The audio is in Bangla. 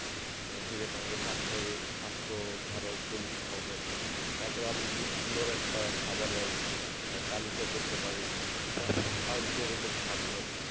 অ্যাঁ সেইক্ষেত্রে আমাদের স্বাস্থের স্বাস্থ্য আরও বলিষ্ঠ্য হবে, তারপর আমরা যদি সুন্দর একটা খাবারের অ্যাঁ তালিকা করতে পারি যার যেরকম সাধ্য আরকি